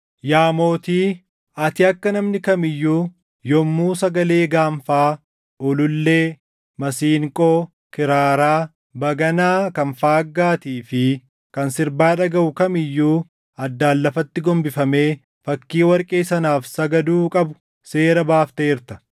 Yaa mootii, ati akka namni kam iyyuu yommuu sagalee gaanfaa, ulullee, masiinqoo, kiraaraa, baganaa kan faaggaatii fi kan sirbaa dhagaʼu kam iyyuu addaan lafatti gombifamee fakkii warqee sanaaf sagaduu qabu seera baafteerta;